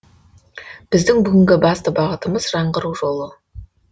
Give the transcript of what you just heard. біздің бүгінгі басты бағытымыз жаңғыру жолы